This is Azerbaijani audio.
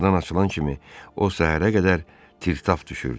Qoşqudan açılan kimi o səhərə qədər tir-tap düşürdü.